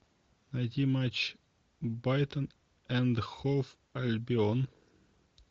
найти матч брайтон энд хоув альбион